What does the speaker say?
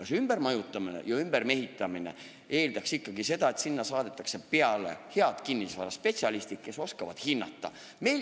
See ümbermajutamine ja ümbermehitamine eeldaks ikkagi seda, et sinna saadetakse peale head kinnisvaraspetsialistid, kes oskavad kinnisvara hinnata.